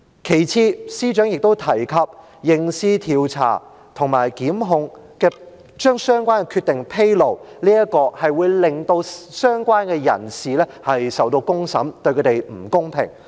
其次，司長亦都提及，刑事調查及檢控，將相關的決定披露，這樣會令相關人士受到公審，對他們不公平。